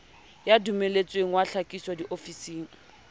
ya dumelletsweng wa tlhakiso diofising